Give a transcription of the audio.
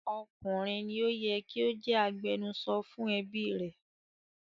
Ọkùnrin ni ó yẹ kí ó jẹ́ agbẹnusọ fún ẹbí rẹ̀.